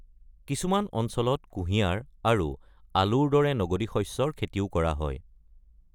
কিছুমান অঞ্চলত কুঁহিয়াৰ আৰু আলুৰ দৰে নগদী শস্যৰ খেতিও কৰা হয়।